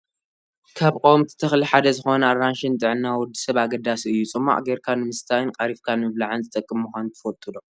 ካብ ቆወምቲ ተክሊ ሓደ ዝኮነ ኣራንሺ ንጥዕና ወዲ ሰብ ኣገዳሲ እዩ። ፅሟቅ ገርካ ንምስታይን ቀሪፍካ ንምብላዕን ዝጠቅም ምኳኑ ትፈልጡ ዶ?